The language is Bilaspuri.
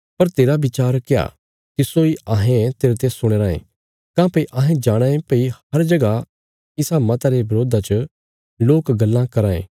पर तेरा विचार क्या तिस्सो इ अहें तेरते सुणना चांये काँह्भई अहें जाणाँ यें भई हर जगह इस मता रे बरोधा च लोक गल्लां कराँ ये